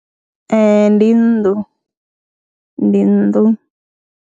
Ee, ndi nnḓu, ndi nnḓu.